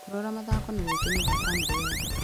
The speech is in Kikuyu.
Kũrora mathako nĩ gwĩkenia gwa bamĩrĩ yothe.